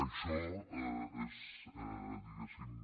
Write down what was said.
això és diguéssim